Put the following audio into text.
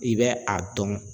I bɛ a dɔn